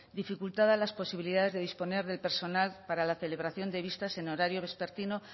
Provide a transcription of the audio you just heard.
dificultaba las posibilidades de disponer del personal para la celebración de vistas en horario vespertino